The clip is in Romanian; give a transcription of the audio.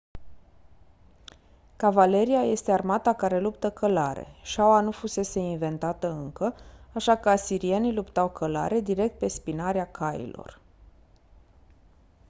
cavaleria este armata care luptă călare șaua nu fusese inventată încă așa că asirienii luptau călare direct pe spinarea cailor